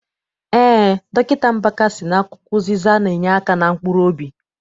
Eé, Dọkịta Mbaka sị na akwụkwọ ụzịza na- enyeaka na mkpuruobi.